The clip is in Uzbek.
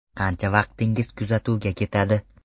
Qancha vaqtingiz kuzatuvga ketadi?